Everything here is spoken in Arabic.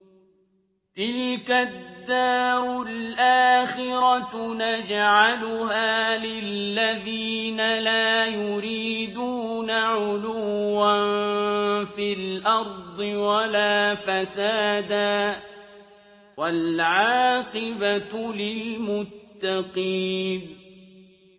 تِلْكَ الدَّارُ الْآخِرَةُ نَجْعَلُهَا لِلَّذِينَ لَا يُرِيدُونَ عُلُوًّا فِي الْأَرْضِ وَلَا فَسَادًا ۚ وَالْعَاقِبَةُ لِلْمُتَّقِينَ